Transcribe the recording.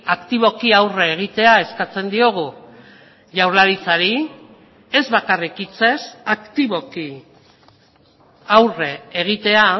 aktiboki aurre egitea eskatzen diogu jaurlaritzari ez bakarrik hitzez aktiboki aurre egitea